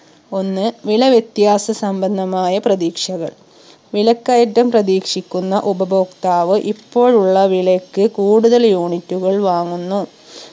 ഒന്ന് വില വിത്യാസ സംബന്ധമായ പ്രതീക്ഷകൾ വിലക്കയറ്റം പ്രതീക്ഷിക്കുന്ന ഉപഭോക്താവ് ഇപ്പോഴുള്ള വിലക്ക് കൂടുതൽ unit കൾ വാങ്ങുന്നു